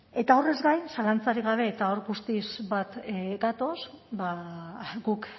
eta horrez gain zalantzarik gabe eta hor guztiz bat gatoz ba guk